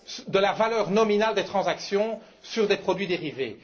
de la valeur nominale des transactions sur les produits dérivés.